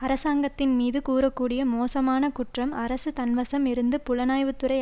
அரசாங்கத்தின் மீது கூற கூடிய மோசமான குற்றம் அரசு தன்வசம் இருந்து புலனாய்வுத்துறை